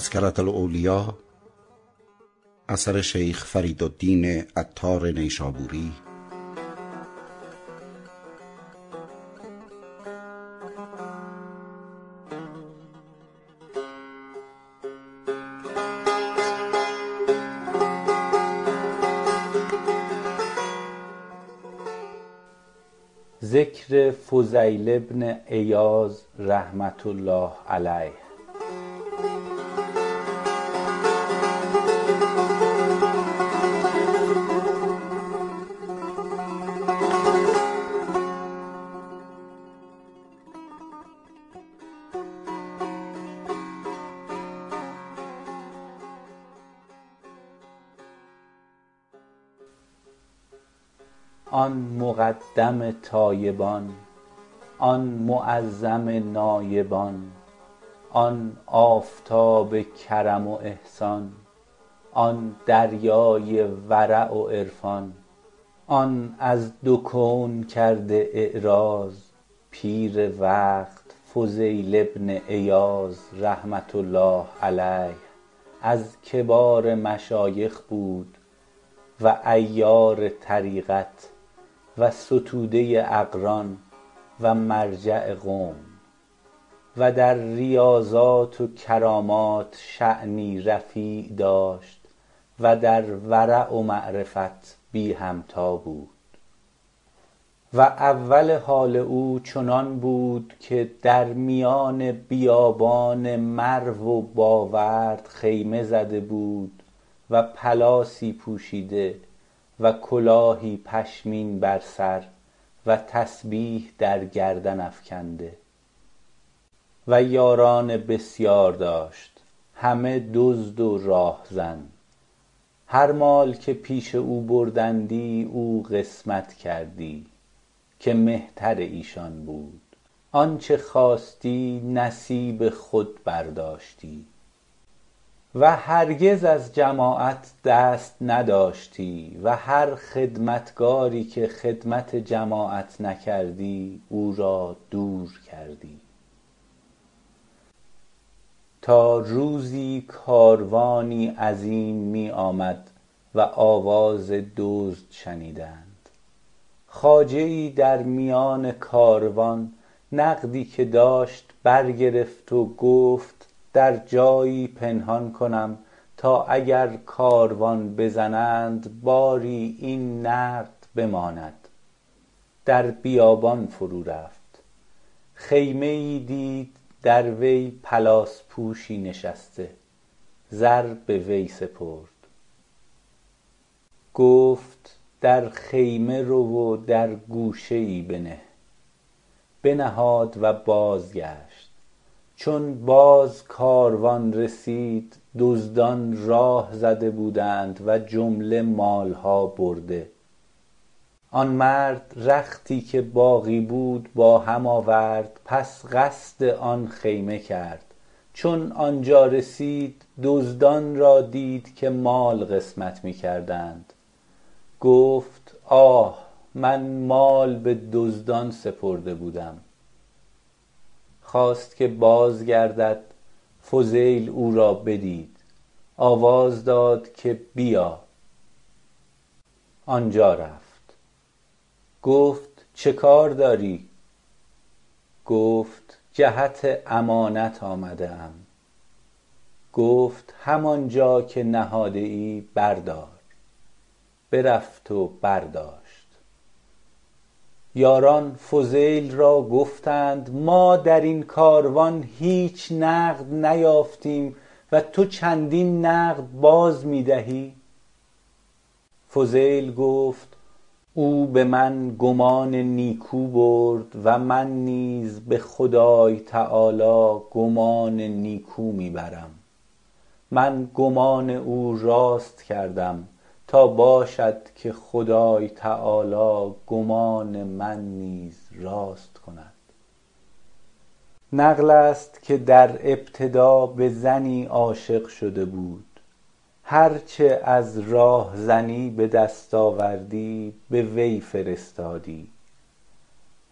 آن مقدم تایبان آن معظم نایبان آن آفتاب کرم و احسان آن دریای ورع و عرفان آن از دو کون کرده اعراض {پیر وقت} فضیل بن عیاض -رحمه الله علیه- از کبار مشایخ بود و عیار طریقت و ستوده ی اقران و مرجع قوم و در ریاضات و کرامات شانی رفیع داشت و در ورع و معرفت بی همتا بود و اول حال او چنان بود که در میان بیابان مرو و باورد خیمه زده بود و پلاسی پوشیده و کلاهی پشمین بر سر و تسبیح درگردن افکنده و یاران بسیار داشت همه دزدان و راهزن هر مال که پیش او بردندی او قسمت کردی که مهتر ایشان بود آنچه خواستی نصیب خود برداشتی و هرگز از جماعت دست نداشتی و هر خدمتگاری که خدمت جماعت نکردی او را دور کردی تا روزی کاروانی عظیم می آمد و آواز دزد شنیدند خواجه یی در میان کاروان نقدی که داشت برگرفت و گفت در جایی پنهان کنم {تا} اگر کاروان بزنند باری این نقد بماند در بیابان فرو رفت خیمه یی دید در وی پلاس پوشی نشسته زر به وی سپرد گفت در خیمه رو و در گوشه یی بنه بنهاد و بازگشت چون باز کاروان رسید دزدان راه زده بودند و جمله مالها برده آن مرد رختی که باقی بود با هم آورد پس قصد آن خیمه کرد چون آن جا رسید دزدان را دید که مال قسمت می کردند گفت آه من مال به دزدان سپرده بودم خواست که باز گردد فضیل او را بدید آواز داد که بیا آنجا رفت گفت چه کار داری گفت جهت امانت آمده ام گفت همان جا که نهاده ای بردار برفت و برداشت یاران فضیل را گفتند ما در این کاروان هیچ نقد نیافتیم و تو چندین نقد باز می دهی فضیل گفت او به من گمان نیکو برد و من نیز به خدای -تعالی- گمان نیکو می برم من گمان او راست کردم تا باشد که خدای -تعالی- گمان من نیز راست کند نقل است که در ابتدا به زنی عاشق شده بود هرچه از راهزنی به دست آوردی به وی فرستادی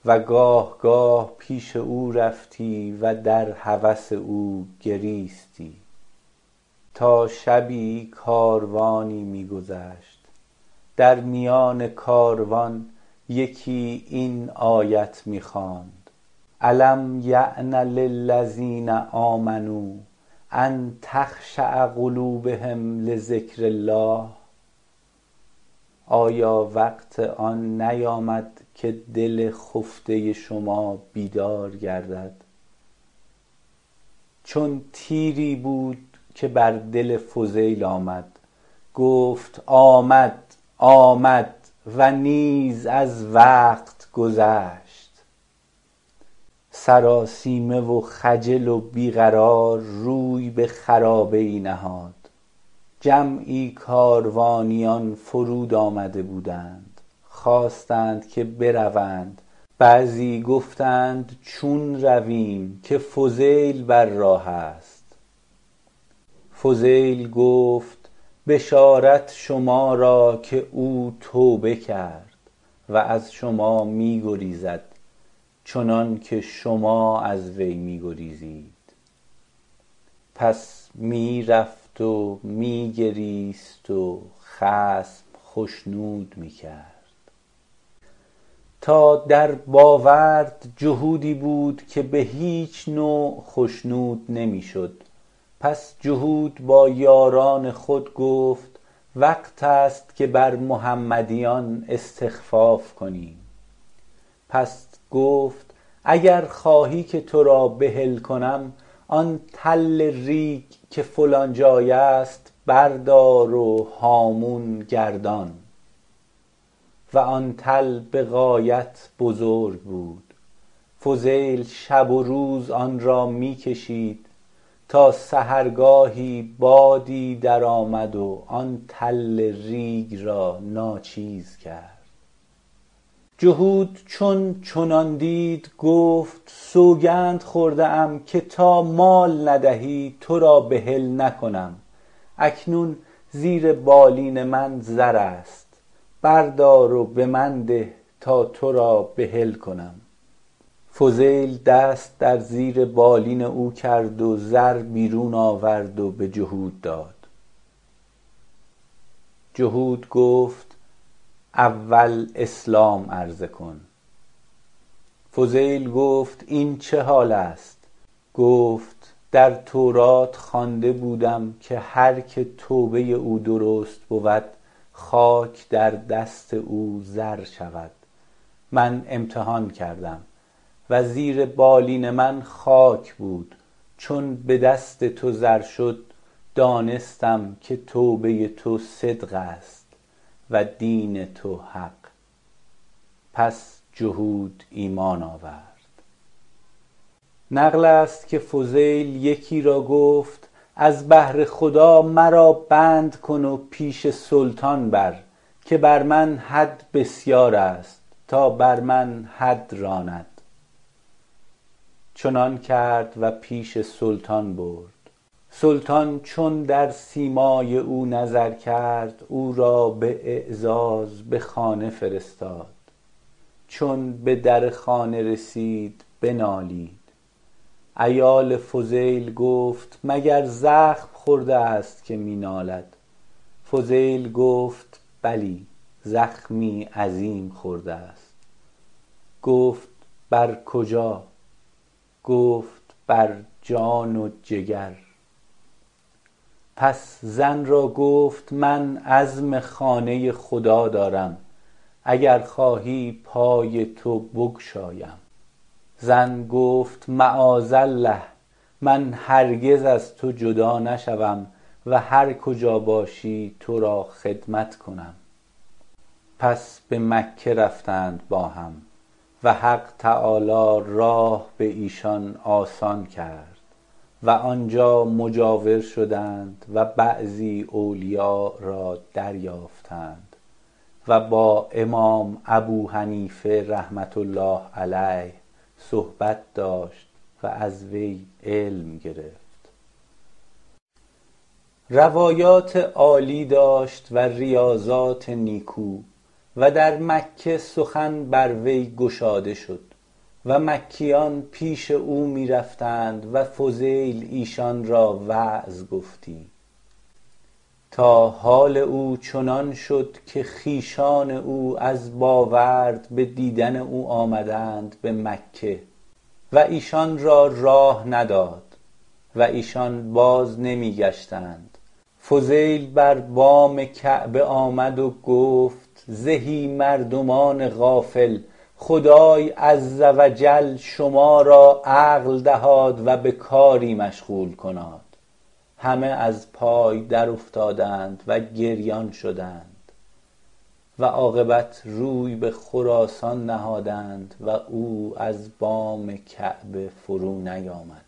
و گاه گاه پیش او رفتی و در هوس او گریستی تا شبی کاروانی می گذشت در میان کاروان یکی این آیت می خواند الم یأن للذین آمنوا ان تخشع قلوبهم لذکر الله -آیا وقت نیامد که این دل خفتة شما بیدار گردد- چون تیری بود که بر دل فضیل آمد گفت آمد آمد و نیز از وقت گذشت سرآسیمه و خجل و بی قرار روی به خرابه یی نهاد جمعی کاروانیان فرود آمده بودند خواستند که بروند بعضی گفتند چون رویم که فضیل بر راه است فضیل گفت بشارت شما را که او دیگر توبه کرد و از شما می گریزد چنان که شما از وی می گریزید پس می رفت و می گریست و خصم خشنود می کرد تا درباورد جهودی بود که به هیچ نوع خشنود نمی شد پس جهود با یاران خود گفت وقت است که بر محمدیان استخفاف کنیم پس گفت اگر خواهی که تو را بحل کنم آن تل ریگ که فلان جای است بردار و هامون گردان و آن تل به غایت بزرگ بود فضیل شب و روز آن را می کشید تا سحرگاهی بادی درآمد و آن تل ریگ را ناچیز کرد جهود چون چنان دید گفت سوگند خورده ام که تا مال ندهی تو را بحل نکنم اکنون زیر بالین من زر است بردار و به من ده تا تو را بحل کنم فضیل دست در زیر بالین او کرد و زر بیرون آورد و به جهود داد جهوت گفت اول اسلام عرضه کن فضیل گفت این چه حال است گفت در تورات خوانده بودم که هرکه توبه ی او درست بود خاک در دست او زر شود من امتحان کردم و زیر بالین من خاک بود چون به دست تو زر شد دانستم که توبه ی تو صدق است و دین تو حق پس جهود ایمان آورد نقل است که فضیل یکی را گفت از بهر خدا مرا بند کن و پیش سلطان بر -که بر من حد بسیار است- تا بر من حد راند چنان کرد و پیش سلطان برد سلطان چون بر سیمای او نظر کرد او را به اعزاز به خانه فرستاد چون به در خانه رسید بنالید عیال فضیل گفت مگر زخم خورده است که می نالد فضیل گفت بلی زخمی عظیم خورده است گفت بر کجا گفت بر جان و جگر پس زن را گفت من عزم خانه ی خدا دارم اگر خواهی پای تو بگشایم زن گفت معاذالله من هرگز از تو جدا نشوم و هر کجا باشی تو را خدمت کنم پس به مکه رفتند با هم و حق -تعالی- راه به ایشان آسان کرد و آنجا مجاور شدند و بعضی اولیاء را دریافتند و با امام ابوحنیفه -رحمه الله علیه- صحبت داشت و از وی علم گرفت روایات عالی داشت و ریاضات نیکو و در مکه سخن بر وی گشاده شد و مکیان پیش او می رفتند و فضیل ایشان را وعظ گفتی تا حال او چنان شد که خویشان او از باورد به دیدن او آمدند به مکه و ایشان را راه نداد و ایشان باز نمی گشتند فضیل بر بام کعبه آمد و گفت زهی مردمان غافل خدای -عز و جل- شما را عقل دهاد و به کاری مشغول کناد همه از پای در افتادند {و گریان شدند} و عاقبت روی به خراسان نهادند و او از بام کعبه فرو نیامد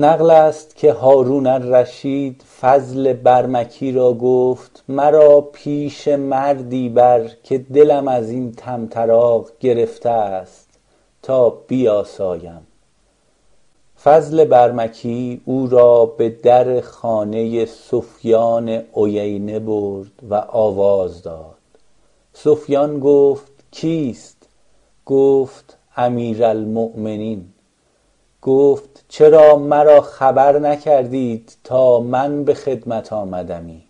نقل است که هارون الرشید فضل برمکی را گفت مرا پیش مردی بر که دلم از این طمطراق گرفته است تا بیاسایم فضل برمکی او را به در خانه ی سفیان عیینه برد و آواز داد سفیان گفت کیست گفت امیرالمومنین گفت چرا مرا خبر نکردید تا من به خدمت آمدمی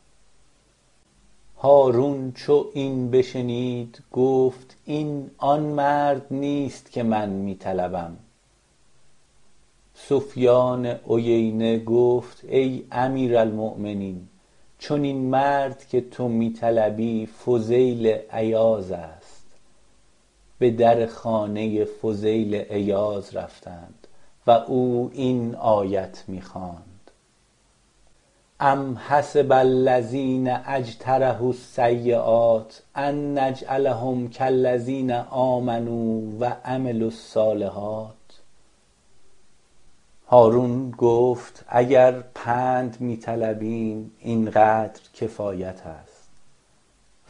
هارون چون این بشنید گفت این آن مرد نیست که من می طلبم سفیان عیینه گفت ای امیر المومنین چنین مرد که تو می طلبی فضیل عیاض است به در خانه ی فضیل عیاض رفتند و او این آیت می خواند ام حسب الذین اجترحوا السییات ان نجعلهم کالذین آمنوا و {عملوا الصالحات} هارون گفت اگر پند می طلبیم این قدر کفایت است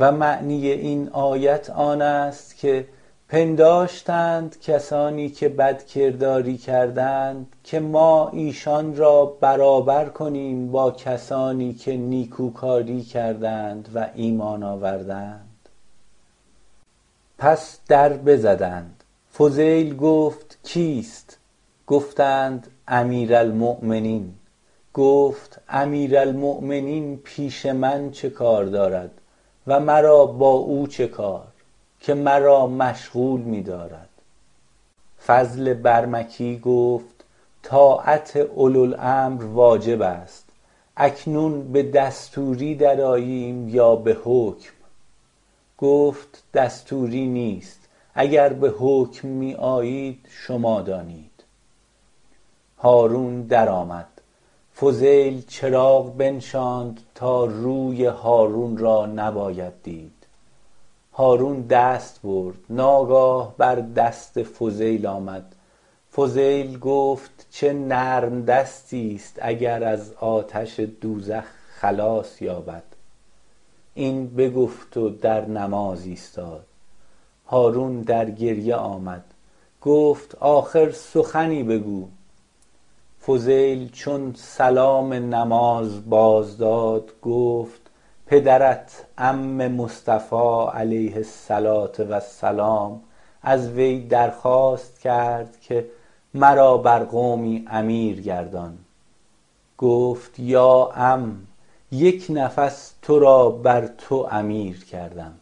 -و معنی آیت آن است که پنداشتند کسانی که بدکرداری کردند که ما ایشان را برابر کنیم با کسانی که نیکوکاری کردند {و ایمان آوردند}- پس دربزدند فضیل گفت کیست گفتند امیر المومنین گفت امیرالمومنین پیش من چه کار دارد و مرا با او چه کار که مرا مشغول می دارد فضل برمکی گفت طاعت اولوالامر واجب است اکنون به دستوری درآییم یا به حکم گفت دستوری نیست اگر به حکم می آیید شما دانید هارون در آمد فضیل چراغ بنشاند تا روی هارون را نباید دید هارون دست برد ناگاه بر دست فضیل آمد فضیل گفت چه نرم دستی است اگر از آتش دوزخ خلاص یابد این بگفت و در نماز ایستاد هارون در گریه آمد گفت آخر سخنی بگو فضیل چون سلام بازداد گفت پدرت عم مصطفی -علیه الصلوه و السلام- از وی درخواست کرد که مرا بر قومی امیر گردان گفت یا عم یک نفس تو را بر تو امیر کردم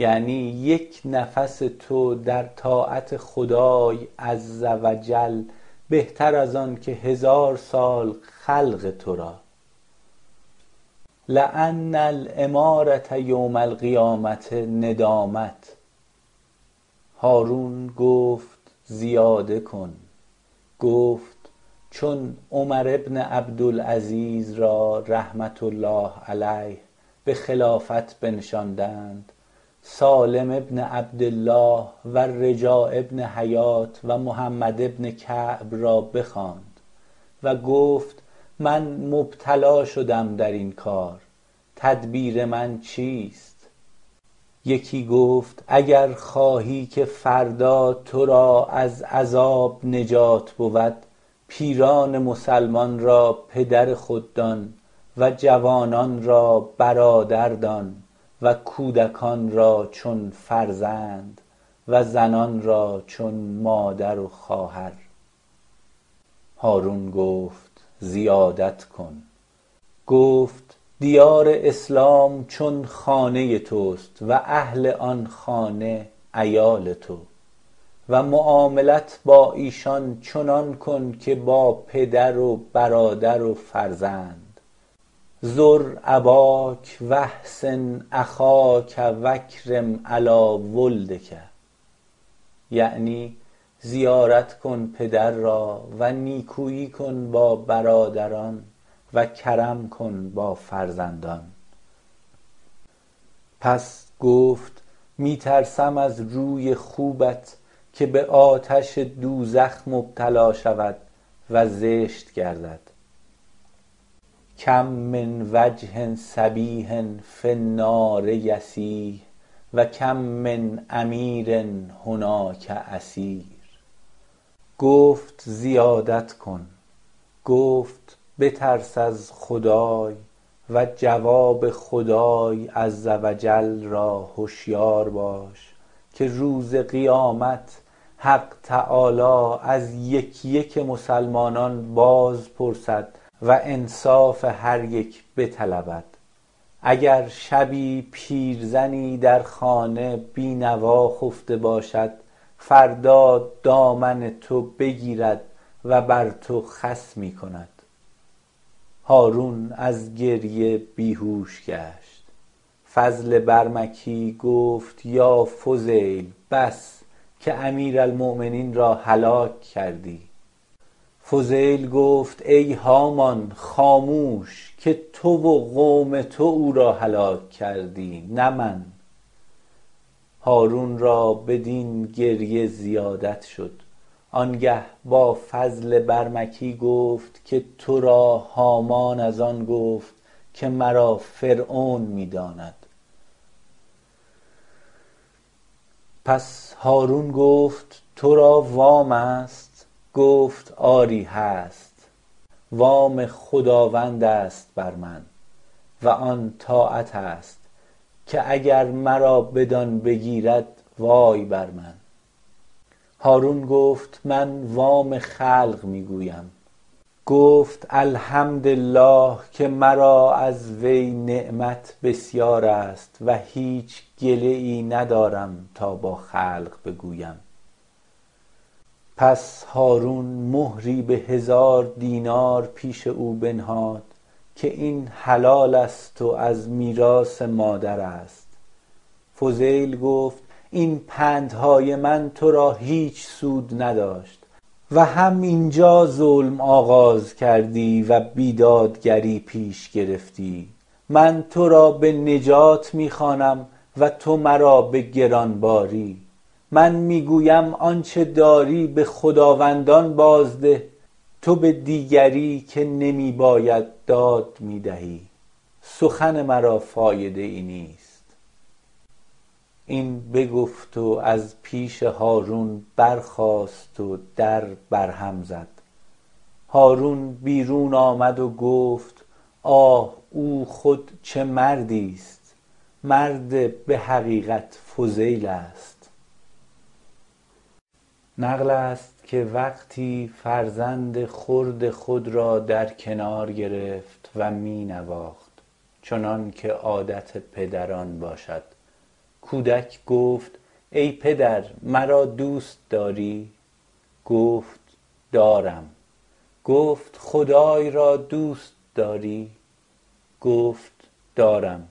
-یعنی {یک} نفس تو در طاعت خدای -عز و جل- بهتر از آن که هزار سال خلق تو را -لان الامارة یوم القیامة ندامة- هارون گفت زیاده کن گفت چون عمربن عبدالعزیز {را} -رحمه الله علیه- به خلافت بنشاندند سالم بن عبدالله و رجاء بن حیوة و محمد بن کعب را بخواند و گفت من مبتلا شدم در این کار تدبیر من چیست یکی گفت اگر خواهی که فردا تو را از عذاب نجات بود پیران مسلمانان را پدر خود دان و جوانان را برادر دان و کودکان {را} چون فرزند و زنان {را} چون مادر و خواهر هارون گفت زیادت کن گفت دیار اسلام چون خانه ی تو ست و اهل آن خانه عیال تو و معاملت با ایشان چنان کن که با پدر و برادر و فرزند زر اباک و احسن اخاک واکرم علی ولدک -یعنی زیارت کن پدر را و نیکویی کن با برادران و کرم کن با فرزندان- پس گفت می ترسم از روی خوبت که به آتش دوزخ مبتلا شود و زشت گردد کم من وجه صبیح فی النار یصیح و کم من امیر هناک اسیر گفت زیادت کن گفت بترس از خدای و جواب خدای -عز و جل- را هشیار باش که روز قیامت حق -تعالی- از یک یک مسلمانان باز پرسد و انصاف هر یک بطلبد اگر شبی پیرزنی در خانه بی نوا خفته باشد فردا دامن تو بگیرد و بر تو خصمی کند هارون از گریه بیهوش گشت فضل برمکی گفت یا فضیل بس که امیرالمومنین را هلاک کردی فضیل گفت ای هامان خاموش که تو و قوم تو او را هلاک کردی نه من هارون را بدین گریه زیادت شد آنگه با فضل برمکی گفت که تو را هامان از آن گفت که مرا فرعون می داند پس هارون گفت تو را وام است گفت آری هست وام خداوند است بر من و آن طاعت است که اگر مرا بدآن بگیرد وای بر من هارون گفت من وام خلق می گویم گفت الحمدالله که مرا از وی نعمت بسیار است و هیچ گله یی ندارم تا با خلق بگویم پس هارون مهری به هزار دینار پیش او بنهاد که این حلال است و از میراث مادر است فضیل گفت این پندهای من تو را هیچ سود نداشت و هم اینجا ظلم آغاز کردی و بیدادگری پیش گرفتی من تو را به نجات می خوانم و تو مرا به گرانباری من می گویم آنچه داری به خداوندان باز ده تو به دیگری -که نمی باید داد- می دهی سخن مرا فایده یی نیست این بگفت و از پیش هارون برخاست و در بر هم زد هارون بیرون آمد و گفت آه او خود چه مردی است مرد به حقیقت فضیل است نقل است که وقتی فرزند خرد خود را در کنار گرفت و می نواخت چنان که عادت پدران باشد کودک گفت ای پدر مرا دوست داری گفت دارم گفت خدای را دوست داری گفت دارم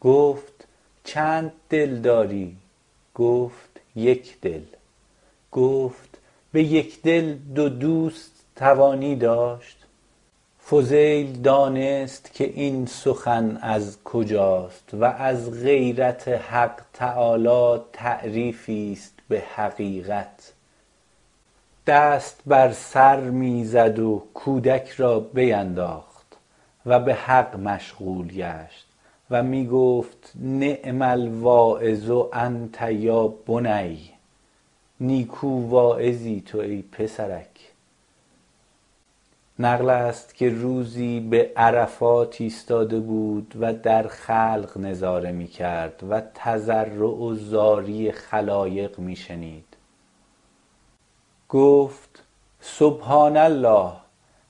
گفت چند دل داری گفت یک دل گفت به یک دل دو دوست توانی داشت فضیل دانست که این سخن از کجا{ست} و از غیرت حق -تعالی- تعریفی است به حقیقت دست بر سر می زد و کودک را بینداخت و به حق مشغول گشت و می گفت نعم الواعظ انت یا بنی -نیکو واعظی تو ای پسرک- نقل است که روزی به عرفات ایستاده بود و در خلق نظاره می کرد و تضرع و زاری خلایق می شنید گفت سبحان الله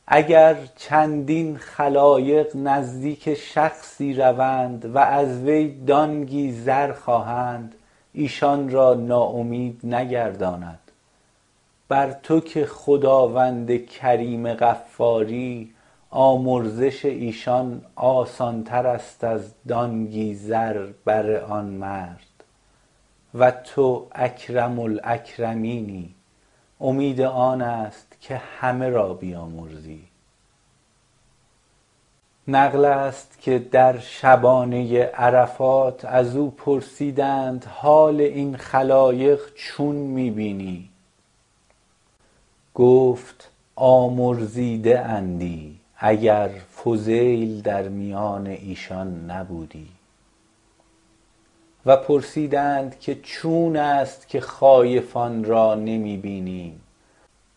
اگر چندین خلایق نزدیک شخصی روند و از وی دانگی زر خواهند ایشان را نا امید نگرداند بر تو که خداوند کریم غفاری آمرزش ایشان آسانتر است از دانگی زر بر آن مرد و تو اکرم الاکرمینی آمین آن است که همه را بیامرزی نقل است که در شبانه ی عرفات از او پرسیدند که حال این خلایق چون می بینی گفت آمرزیده اندی اگر فضیل در میان ایشان نبودی و پرسیدند که چون است که خایفان را نمی بینیم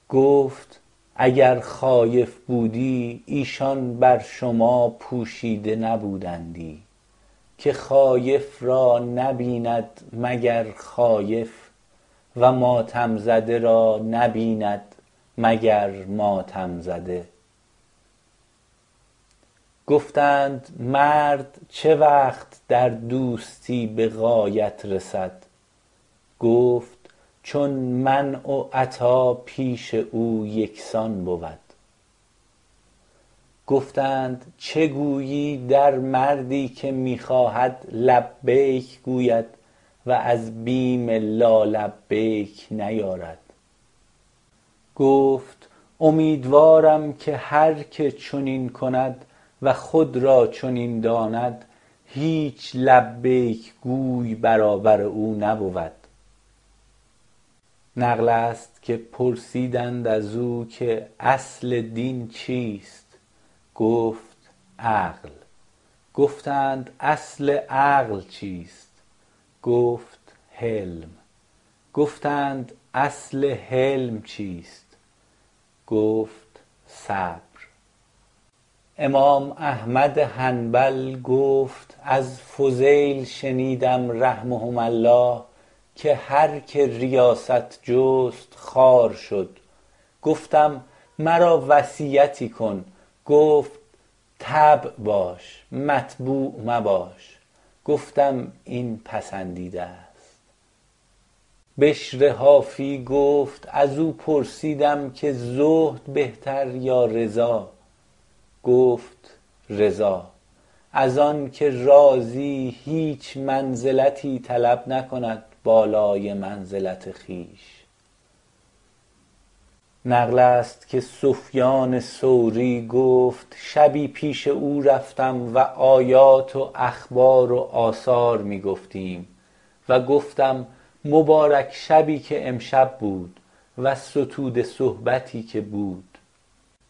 گفت اگر خایف بودی ایشان بر شما پوشیده نبودندی که خایف را نبیند مگر خایف و ماتم زده را نبیند مگر ماتم زده گفتند مرد چه وقت در دوستی به غایت رسد گفت چون منع و عطا پیش او یکسان بود گفتند چه گویی در مردی که می خواهد که لبیک گوید و از بیم لالبیک نیارد گفت امیدوارم که هرکه چنین کند و خود را چنین داند هیچ لبیک گوی برابر او نبود نقل است که پرسیدند از او که اصل دین چیست گفت عقل گفتند اصل عقل چیست گفت حلم گفتند {اصل} حلم چیست گفت صبر امام احمد حنبل گفت از فضیل شنیدم -رحمهما الله- که هرکه ریاست جست خوار شد گفتم مرا وصیتی کن گفت تبع باش متبوع مباش گفتم این پسندیده است بشر حافی گفت از او پرسیدم که زهد بهتر یا رضا گفت رضا از آن که راضی هیچ منزلتی طلب نکند بالای منزلت خویش نقل است که سفیان ثوری گفت شبی پیش او رفتم و آیات و اخبار و آثار می گفتیم و گفتم مبارک شبی که امشب بود و ستوده صحبتی که بود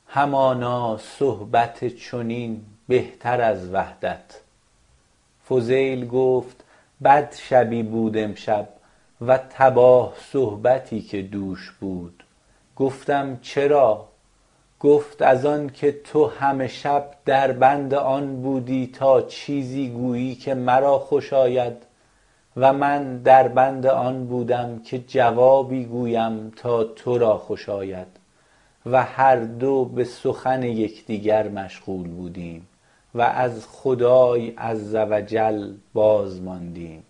همانا صحبت چنین بهتر از وحدت فضیل گفت بد شبی بود امشب و تباه صحبتی که دوش بود گفتم چرا گفت از آن که تو همه شب در بند آن بودی تا چیزی گویی که مرا خوش آید {و من در بند آن بودم که جوابی گویم تا تو را خوش آید} و هر دو به سخن یکدیگر مشغول بودیم و از خدای -عز و جل- باز ماندیم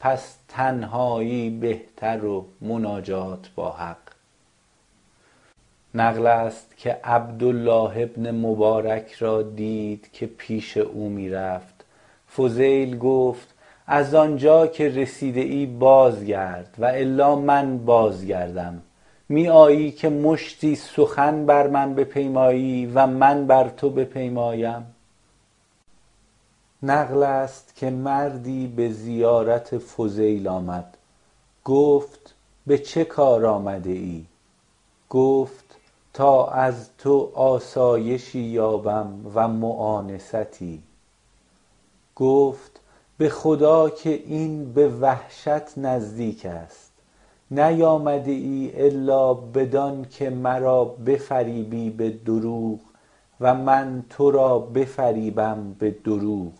پس تنهایی بهتر و مناجات با حق نقل است که عبدالله بن مبارک را دید که پیش او می رفت فضیل گفت از آنجا که رسیده ای بازگرد و الا من باز می گردم می آیی که مشتی سخن بر من پیمایی و من بر تو پیمایم نقل است که مردی به زیارت فضیل آمد گفت به چه کار آمده ای گفت تا از تو آسایشی یابم و موانستی گفت به خدا که این به وحشت نزدیک است نیامده ای الا بدان که مرا بفریبی به دروغ و من تو را بفریبم به دروغ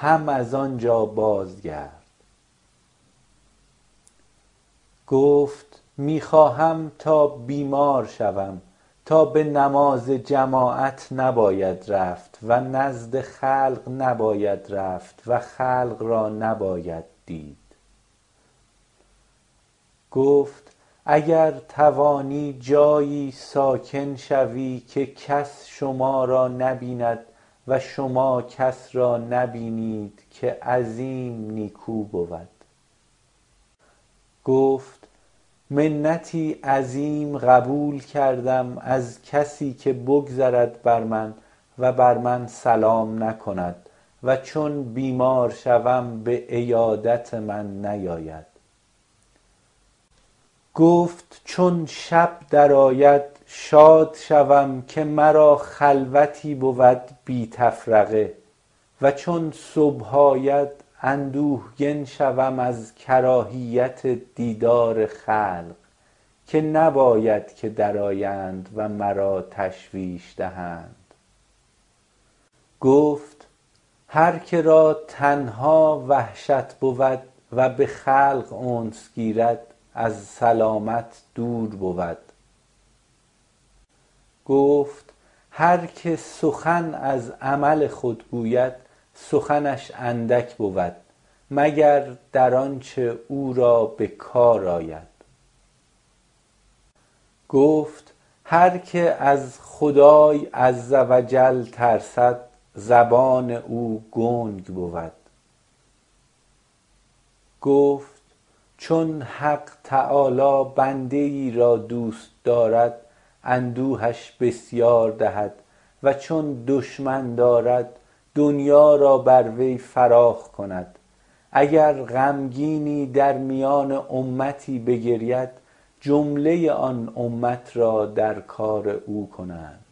هم از آن جا باز گرد گفت می خواهم تا بیمار شوم تا به نماز جماعت نباید رفت و نزد خلق نباید رفت و خلق را نباید دید گفت اگر توانی جایی ساکن شوی که کس شما را نبیند و شما کس را نبینید که عظیم نیکو بود گفت منتی عظیم قبول کردم از کسی که بگذرد بر من و بر من سلام نکند و چون بیمار شوم به عیادت من نیاید گفت چون شب درآید شاد شوم که مرا خلوتی بود بی تفرقه و چون صبح آید اندوهگن شوم از کراهیت دیدار خلق که نباید که درآیند و مرا تشویش دهند گفت هرکه را تنها وحشت بود و به خلق انس گیرد از سلامت دور بود گفت هر که سخن از عمل خود گوید سخنش اندک بود مگر در آنچه او را به کار آید گفت هرکه از خدای -عز و جل- ترسد زبان او گنگ بود گفت چون حق -تعالی- بنده یی را دوست دارد اندوهش بسیار دهد و چون دشمن دارد دنیا را بر وی فراخ کند اگر غمگینی در میان امتی بگرید جمله ی آن امت را در کار او کنند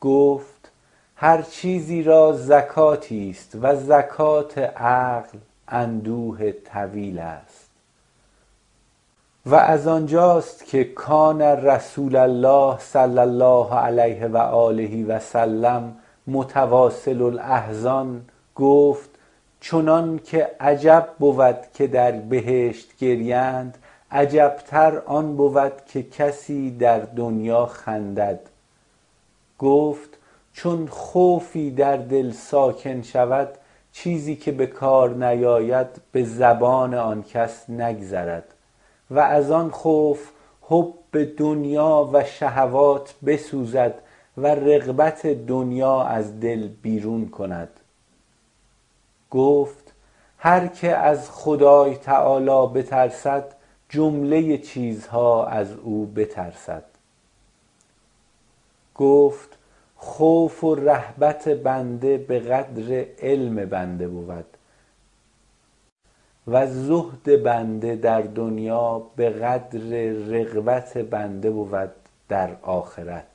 گفت هرچیزی را زکاتی است و زکات عقل اندوه طویل است و از آن جا ست که کان رسول الله صلی الله علی و آله و سلم متواصل الاحزان- {گفت} چنان که عجب بود که در بهشت گریند عجبتر آن بود که کسی در دنیا خندد گفت چون خوفی در دل ساکن شود چیزی که به کار نیاید به زبان آن کس نگذرد و از آن خوف حب دنیا و شهوات بسوزد و رغبت دنیا از دل بیرون کند گفت هرکه از خدای -تعالی_ بترسد جمله ی چیزها از او بترسد گفت خوف و رهبت بنده به قدر علم بنده بود و زهد بنده در دنیا به قدر رغبت بنده بود در آخرت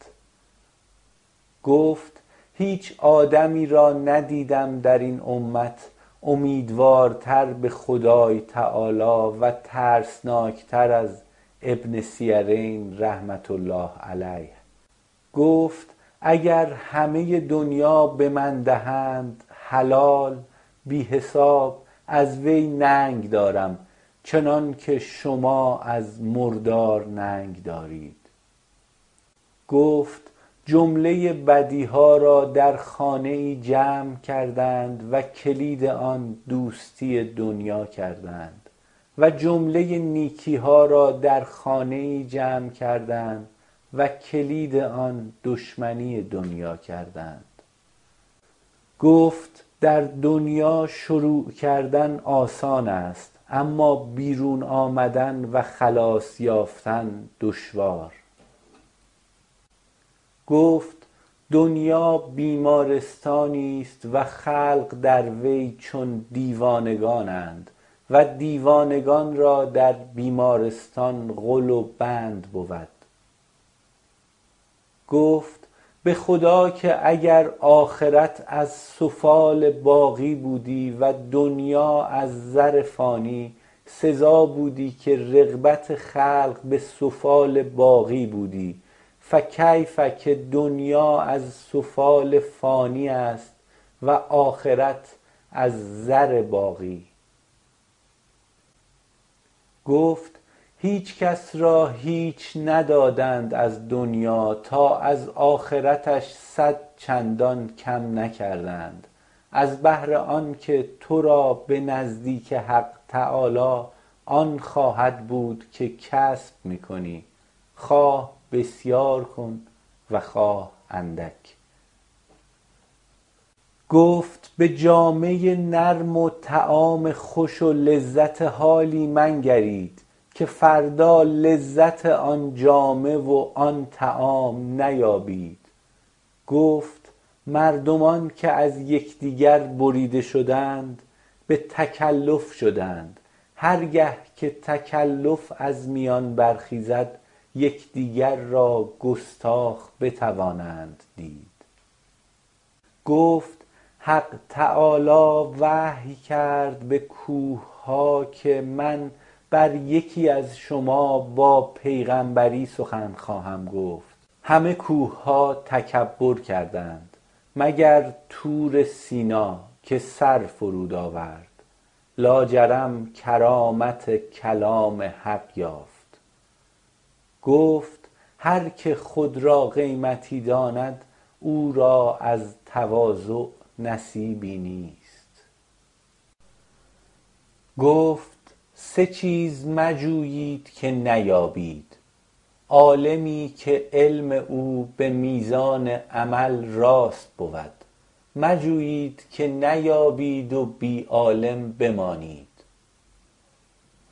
گفت هیچ آدمی را ندیدم در این امت امیدوارتر به خدای -تعالی- و ترسناک تر از ابن سیرین رحمه الله علیه گفت اگر همه ی دنیا به من دهند حلال بی حساب از وی ننگ دارم چنان که شما از مردار ننگ دارید گفت جمله ی بدی ها را در خانه یی جمع کردند و کلید آن دوستی دنیا کردند و جمله ی نیکی ها را در خانه یی جمع کردند و کلید آن دشمنی دنیا کردند گفت در دنیا شروع کردن آسان است اما بیرون آمدن و خلاص یافتن دشوار گفت دنیا بیمارستانی است و خلق در وی چون دیوانگان اند و دیوانگان را در بیمارستان غل و بند بود گفت به خدا که اگر آخرت از سفال باقی بودی و دنیا از زر فانی سزا بودی که رغبت خلق به سفال باقی بودی فکیف که دنیا از سفال فانی است و آخرت از زر باقی گفت هیچ کس را هیچ ندادند از دنیا تا از آخرتش صدچندان کم نکردند از بهر آن که {تو را} به نزدیک حق -تعالی- آن خواهد بود که کسب می کنی خواه بسیار کن و خواه اندک گفت به جامه ی نرم و طعام خوش و لذت حالی منگرید که فردا لذت آن جامه و {آن} طعام نیابید گفت مردمان که از یکدیگر بریده شدند به تکلف شدند هر گه که تکلف از میان برخیزد یکدیگر را گستاخ بتوانند دید گفت حق-تعالی- وحی کرد به کوهها که من بر یکی از شما با پیغمبری سخن خواهم گفت همه کوهها تکبر کردند مگر طور سینا که سر فرود آورد لاجرم کرامت کلام حق یافت گفت هرکه خود را قیمتی داند او را از تواضع نصیبی نیست گفت سه چیز مجویید که نیابید عالمی که علم او به میزان عمل راست بود مجویید که نیابید و بی عالم بمانید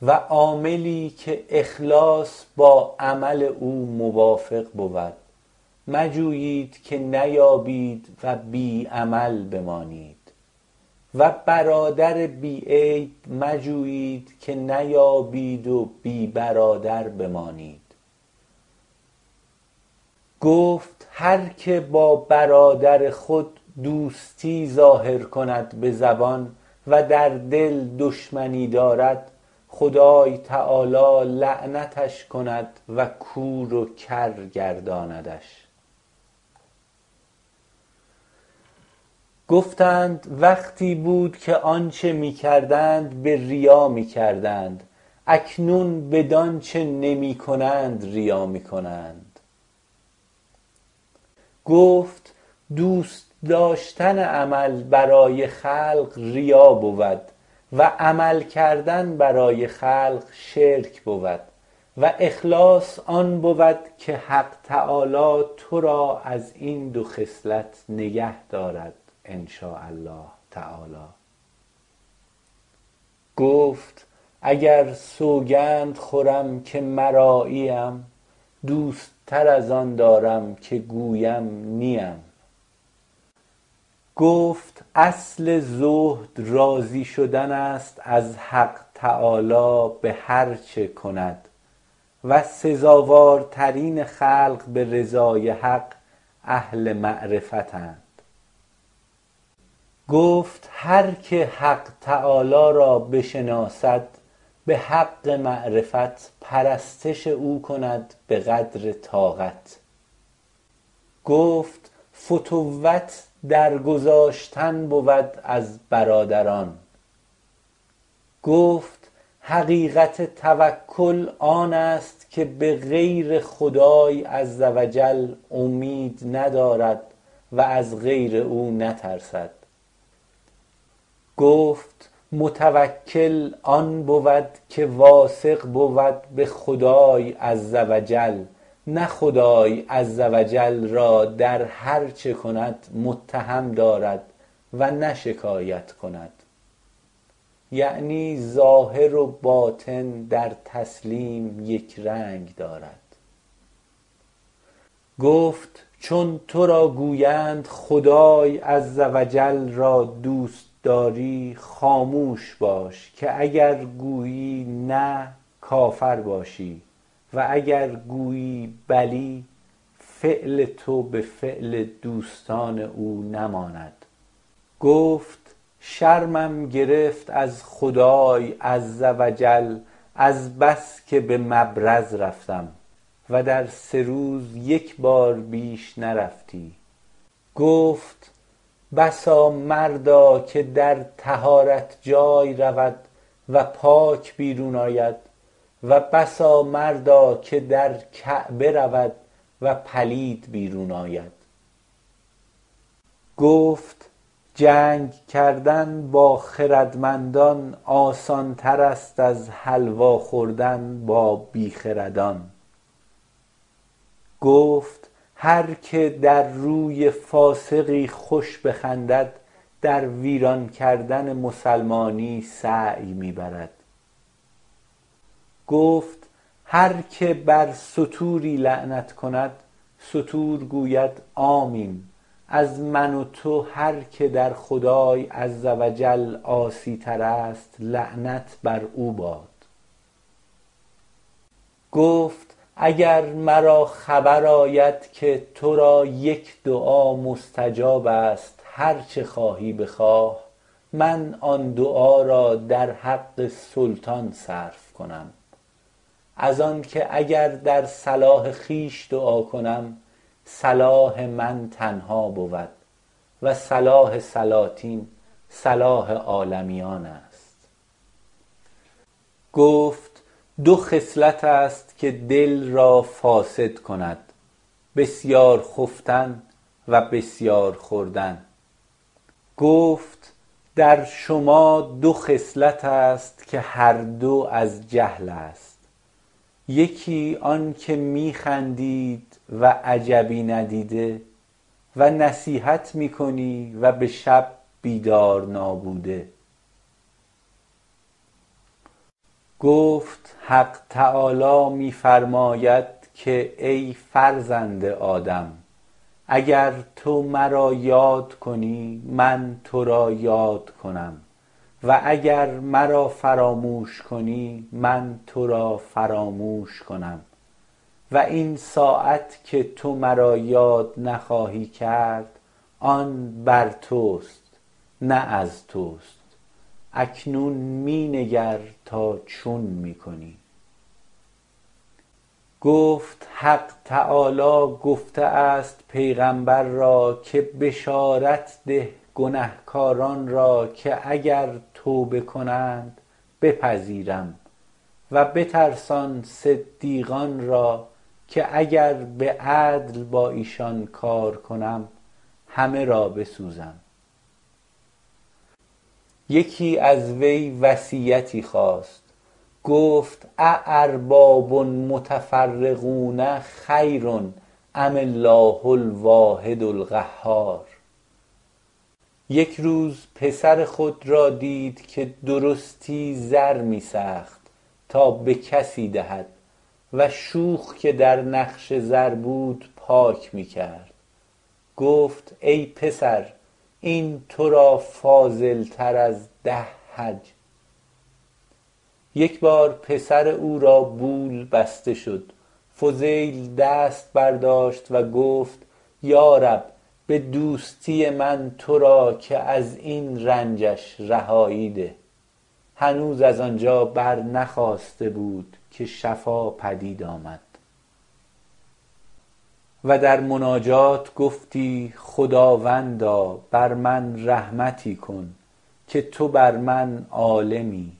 و عاملی که اخلاص با عمل او موافق بود مجویید که نیابید و بی عمل بمانید و برادر بی عیب مجویید که نیابید و بی برادر بمانید گفت هرکه با برادر خود دوستی ظاهر کند به زبان و در دل دشمنی دارد خدای -تعالی- لعنتش کند و کور و کر گرداندش گفتند وقتی بود که آنچه می کردند به ریا می کردند اکنون بدانچه نمی کنند ریا می کنند گفت دوست داشتن عمل برای خلق ریا بود و عمل کردن برای خلق شرک بود و اخلاص آن بود که حق -تعالی- تو را از این دو خصلت نگه دارد ان شاء الله تعالی گفت اگر سوگند خورم که مرایی ام دوست تر از آن دارم که گویم نیم گفت اصل زهد راضی شدن است از حق -تعالی- به هر چه کند و سزاوارترین خلق به رضای حق اهل معرفت اند گفت هرکه حق -تعالی- را بشناسد به حق معرفت پرستش او کند به قدر طاعت گفت فتوت در گذاشتن بود از برادران گفت حقیقت توکل آن است که به غیر خدای -عز و جل- اومید ندارد و از غیر او نترسد گفت متوکل آن بود که واثق بود به خدای عز و جل نه خدای -عز و جل- را در هر چه کند متهم دارد و نه شکایت کند - یعنی ظاهر و باطن در تسلیم یک رنگ دارد- گفت چون تو را گویند خدای -عز و جل- را دوست داری خاموش باش که اگر گویی نه کافر باشی و اگر گویی بلی فعل تو به فعل دوستان او نماند گفت شرمم گرفت از خدای -عز و جل- از بس که در مبرز رفتم -و در سه روز یک بار بیش نرفتی- گفت بسا مردا که در طهارت جای رود و پاک بیرون آید و بسا مردا که در کعبه رود و پلید بیرون آید گفت جنگ کردن با خردمندان آسان تر است از حلوا خوردن با بی خردان گفت هر که در روی فاسقی خوش بخندد در ویران کردن مسلمانی سعی می برد گفت هرکه بر ستوری لعنت کند {ستور} گوید آمین از من و تو هرکه در خدای -عز و جل- عاصی تر است لعنت بر او باد گفت اگر مرا خبر آید که تو را یک دعا مستجاب است هرچه خواهی بخواه من آن دعا را در حق سلطان صرف کنم از آن که اگر در صلاح خویش دعا کنم صلاح من تنها بود و صلاح سلاطین صلاح عالمیان است گفت دو خصلت است که دل را فاسد کند بسیار خفتن و بسیار خوردن گفت در شما دو خصلت است که هر دو از جهل است یکی آنکه می خندید و عجبی ندیده و نصیحت می کنی و شب بیدار نابوده گفت حق -تعالی- می فرماید که ای فرزند آدم اگر تو مرا یاد کنی من تو را یاد کنم و اگر مرا فراموش کنی من تو را فراموش کنم و این ساعت که تو مرا یاد نخواهی کرد آن بر توست نه از توست اکنون می نگر تا چون می کنی گفت حق -تعالی- گفته است پیغمبر را که بشارد ده گنهکاران را که اگر توبه کنند بپذیرم و بترسان صدیقان را که اگر به عدل با ایشان کار کنم همه را بسوزم یکی از وی وصیتی خواست گفت ا ارباب متفرقون خیر ام الله الواحد القهار یک روز پسر خود را دید که درستی زر می سخت {تا به کسی دهد} و شوخ که در نقش زر بود پاک می کرد گفت ای پسر این تو را فاضل تر از ده حج یک بار پسر او را بول بسته شد فضیل دست برداشت و گفت یارب به دوستی من تو را که از این رنج اش رهایی ده هنوز از آنجا برنخاسته بود که شفا پدید آمد و در مناجات گفتی خداوندا بر من رحمتی کن که تو بر من عالمی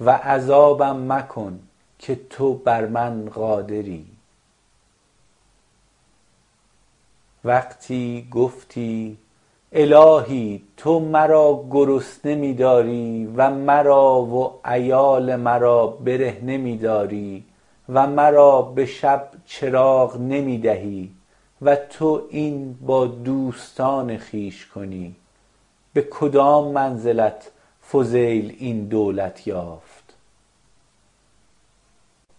و عذابم مکن که تو بر من قادری وقتی گفتی الهی تو مرا گرسنه می داری و مرا و عیال مرا برهنه می داری و مرا به شب چراغ نمی دهی -و تو این با دوستان خویش کنی- به کدام منزلت فضیل این دولت یافت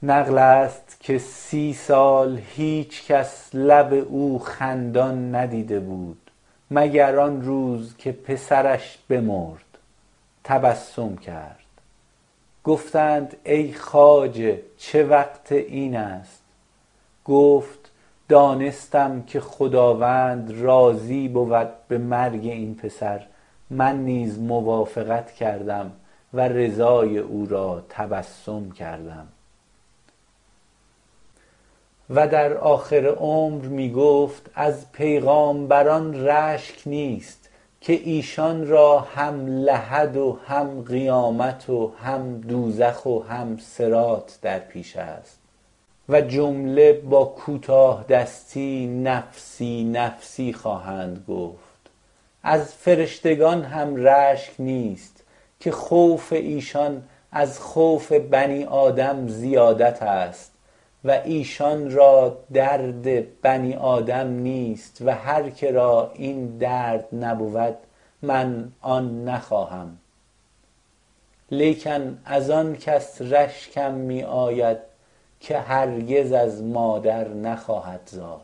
نقل است که سی سال هیچ کس لب او خندان ندیده بود مگر آن روز که پسرش بمرد تبسم کرد گفتند ای خواجه چه وقت این است گفت دانستم که خداوند راضی بود به مرگ این پسر من نیز موافقت کردم و رضای او را تبسم کردم و در آخر عمر می گفت از پیغامبران رشک نیست که ایشان را هم لحد و هم قیامت و هم دوزخ و هم صراط در پیش است و جمله با کوتاه دستی نفسی نفسی خواهند گفت از فرشتگان هم رشک نیست که خوف ایشان از خوف بنی آدم زیادت است و ایشان را درد {بنی آدم نیست و هرکه را} این درد نبود من آن نخواهم لیکن از آن کسی رشکم می آید که هرگز از مادر نخواهد زاد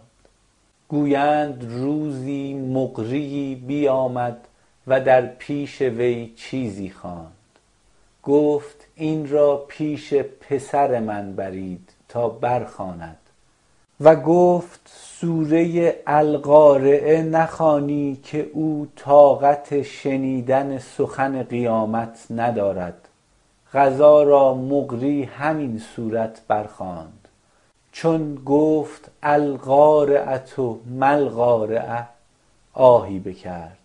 گویند روزی مقریی بیامد و در پیش وی چیزی خواند گفت این را پیش پسر {من} برید تا برخواند و گفت سوره ی القارعه نخوانی که او طاقت شنیدن سخن قیامت ندارد قضا را مقری همین صورت بر خواند چون گفت القارعة مالقارعه آهی بکرد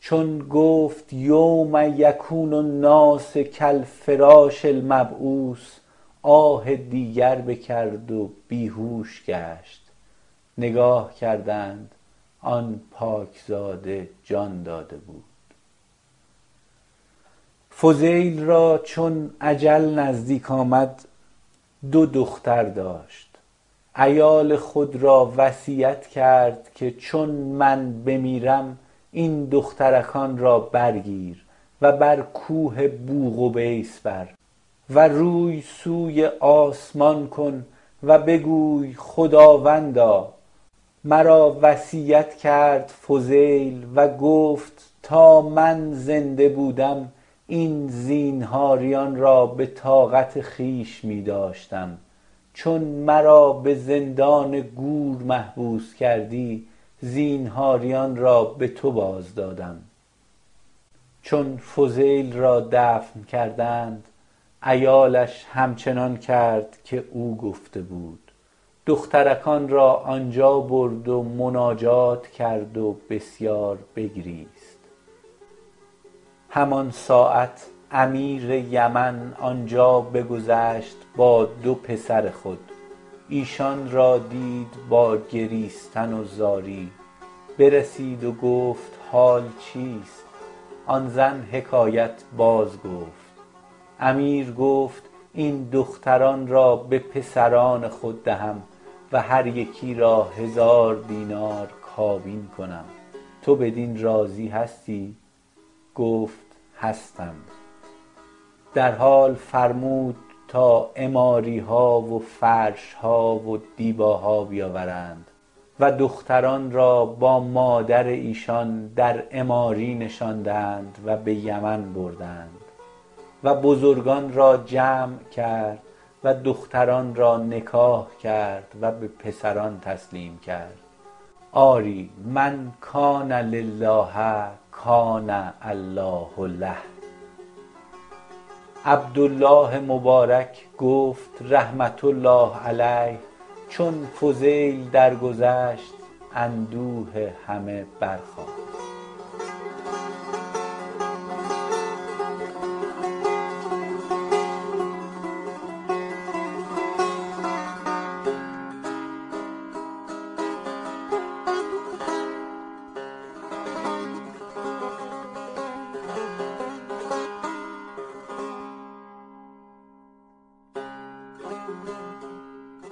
چون گفت یوم یکون الناس کالفراش المبثوث آه دیگر بکرد و بیهوش گشت نگاه کردند آن پاک زاده جان داده بود فضیل را چون اجل نزدیک آمد دو دختر داشت عیال خود را وصیت کرد که چون من بمیرم این دخترکان را برگیر و بر کوه بوقبیس بر و روی سوی آسمان کن و بگوی خداوندا مرا وصیت کرد فضیل و گفت تا من زنده بودم این زینهاریان را به طاقت خویش می داشتم چون مرا به زندان گور محبوس کردی زینهاریان را به تو باز دادم چون فضیل را دفن کردند عیالش همچنان کرد که او گفته بود دخترکان را آنجا برد و مناجات بسار کرد و بسیار بگریست همان ساعت امیر یمن آنجا بگذشت با دو پسر خود ایشان را دید با گریستن و زاری برسید و گفت حال چیست آن زن حکایت باز گفت امیر گفت این دختران را به پسران خود دهم و هر یکی را هزار دینار کابین کنم تو بدین راضی هستی گفت هستم در حال فرمود تا عماری ها و فرش ها و دیبا ها بیاوردند و دختران را با مادر ایشان در عماری نشاندند و به یمن بردند و بزرگان را جمع کرد و دختران را نکاح کرد و به پسران تسلیم کرد آری من کان لله کان الله له عبدالله مبارک گفت -رحمة الله علیه- چون فضیل درگذشت اندوه همه برخاست